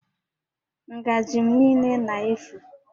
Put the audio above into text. Ngajị m niile na-éfù